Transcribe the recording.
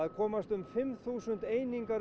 komast um fimm þúsund einingar